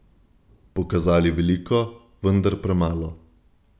Pokazali veliko, vendar premalo.